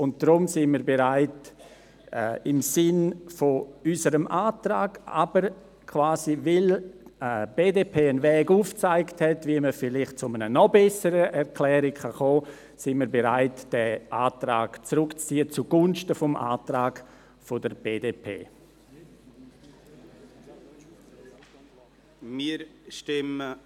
Deshalb sind wir bereit, im Sinne unseres Antrags, aber auch weil die BDP einen Weg aufgezeigt hat, wie man vielleicht zu einer noch besseren Erklärung kommen kann, unseren Antrag zugunsten des Antrags der BDP zurückzuziehen.